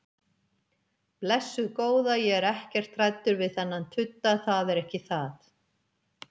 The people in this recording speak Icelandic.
Blessuð góða, ég er ekkert hræddur við þennan tudda, það er ekki það.